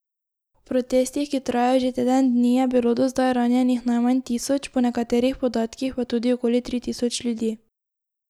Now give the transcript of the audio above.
V protestih, ki trajajo že teden dni, je bilo do zdaj ranjenih najmanj tisoč, po nekaterih podatkih pa tudi okoli tri tisoč ljudi.